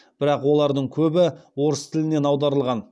бірақ оладың көбі орыс тілінен аударылған